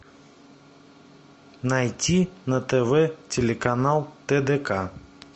найти на тв телеканал тдк